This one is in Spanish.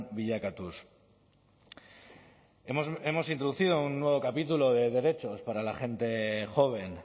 bilakatuz hemos introducido un nuevo capítulo de derechos para la gente joven